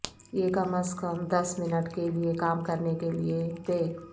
یہ کم از کم دس منٹ کے لئے کام کرنے کے لئے دے